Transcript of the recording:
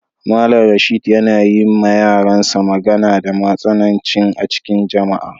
Mallam Rashid yana yi ma yaran sa magana da matsananci a'cikin jama'a.